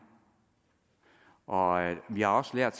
og vi har også lært